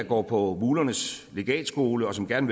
går på mulernes legatskole og som gerne